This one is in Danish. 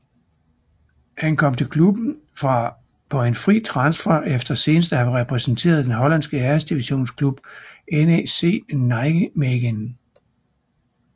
Han kom til klubben på en fri transfer efter senest at have repræsenteret den hollandske Æresdivisionsklub NEC Nijmegen